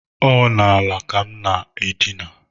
Ọ n’ala ka m na-edina